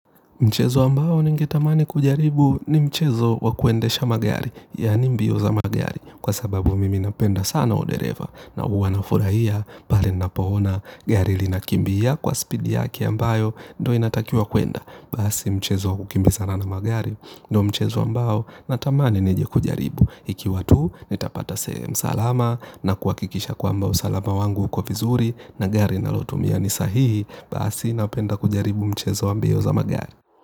Mchezo ambao ningetamani kujaribu ni mchezo wa kuendesha magari, yani mbio za magari, kwa sababu mimi napenda sana udereva, na uwa nafurahia, pale napo ona, gari linakimbia kwa speed yake ambayo, ndo inatakiwa kuenda. Basi mchezo wa kukimbizana na magari ndo mchezo ambao natamani nije kujaribu. Ikiwa tu nitapata sehemu salama na kuhakikisha kwamba usalama wangu uko vizuri na gari nalotumia ni sahihi. Basi napenda kujaribu mchezo wa mbio za magari.